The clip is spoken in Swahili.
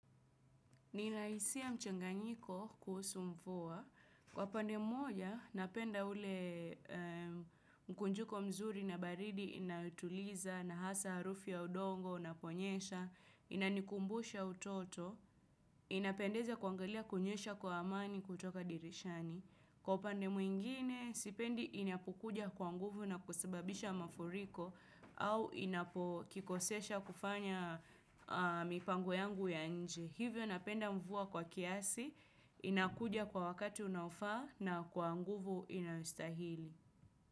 Nina hisia mchanganyiko kuhusu mvua. Kwa pande mmoja, napenda ule mkunjuko mzuri na baridi inayotuliza na hasa harufu ya udongo, unaponyesha, inanikumbusha utoto, inapendeza kuangalia kunyesha kwa amani kutoka dirishani. Kwa upande mwingine, sipendi inapukuja kwa nguvu na kusababisha mafuriko au inapokikosesha kufanya mipango yangu ya nje. Hivyo napenda mvua kwa kiasi, inakuja kwa wakati unaofaa na kwa nguvu inayostahili.